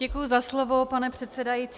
Děkuji za slovo, pane předsedající.